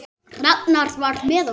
Ragnar var með okkur.